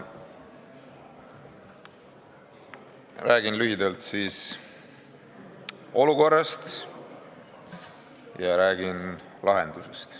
Räägin lühidalt olukorrast ja räägin lahendusest.